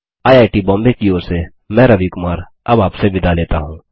IIT Bombay की ओर से मैं रवि कुमार अब आपसे विदा लेता हूँ